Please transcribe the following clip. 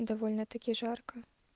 довольно таки жарко